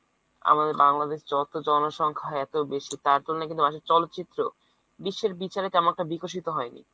আমাদের বাংলাদেশের জনসংখ্যা এত বেশি তাতেও নাকি বাংলাদেশের চলচিত্র বিশ্বের বিচারে তেমন একটা বিকশিত হয়নি।